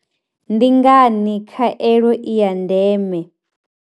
Ndi ngani khaelo i ya ndeme?